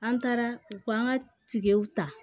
An taara u ko an ka tigɛw ta